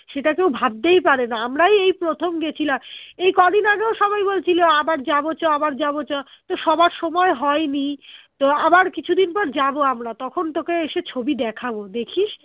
সেটা কেউ ভাবতেই পারে না আমরাই এই প্রথম গেছিলাম এই কদিন আগে ও সবাই বলছিলো আবার যাবো চ আবার যাবো চ তো সবার সময় হয়নি তো আবার কিছুদিন পর যাবো আমরা তখন তোকে এসে ছবি দেখাবো দেখিস